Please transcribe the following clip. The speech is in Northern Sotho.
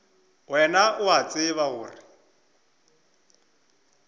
wena o a tseba gore